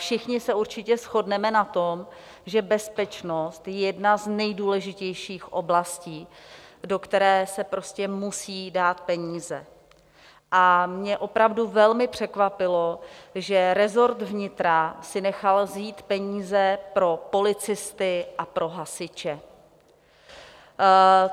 Všichni se určitě shodneme na tom, že bezpečnost je jedna z nejdůležitějších oblastí, do které se prostě musí dát peníze, a mě opravdu velmi překvapilo, že resort vnitra si nechal vzít peníze pro policisty a pro hasiče.